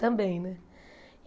Também, né?